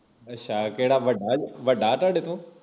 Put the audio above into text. ਅੱਛਾ ਕਿਹੜਾ ਵੱਡਾ ਵੱਡਾ ਤੁਹਾਡੇ ਤੋਂ